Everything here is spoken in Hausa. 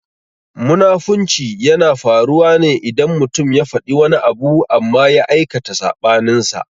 Munafunci yana faruwa ne idan mutum ya faɗi wani abu amma ya aikata saɓaninsa.